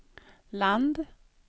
land